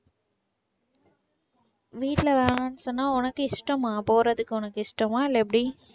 வீட்ல வேணான்னு சொன்னா உனக்கு இஷ்டமா போறதுக்கு உனக்கு இஷ்டமா இல்லை எப்படி?